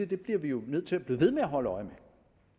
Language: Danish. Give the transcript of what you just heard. det bliver vi jo nødt til at blive ved med at holde øje med